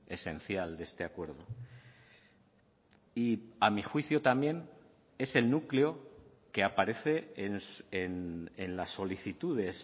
esencial de este acuerdo y a mi juicio también es el núcleo que aparece en las solicitudes